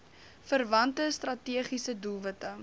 verwante strategiese doelwitte